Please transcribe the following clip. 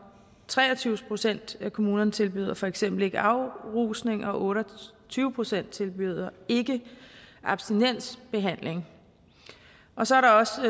tre og tyve procent af kommunerne tilbyder for eksempel ikke afrusning og otte og tyve procent tilbyder ikke abstinensbehandling og så er der også